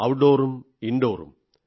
ഔട്ട്ഡോറും ഇൻഡോറും